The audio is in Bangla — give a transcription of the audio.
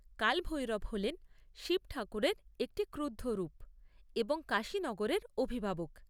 কাল ভৈরব হলেন শিব ঠাকুরের একটি ক্রুদ্ধ রূপ এবং কাশী নগরের অভিভাবক।